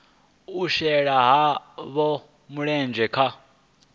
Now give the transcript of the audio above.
u shela havho mulenzhe kha